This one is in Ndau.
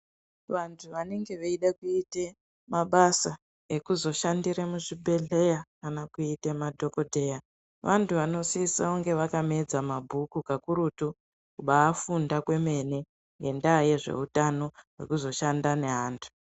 Vantu vanenge veide kuita mabasa ekuzosgandire muzvibhedhlera kana kuite madhokodheya vantu vanosisa kunge vakamedza mabhuku kakurutu kubafunda kwemene ngendaa yezveutano wekuzoshanda neantu.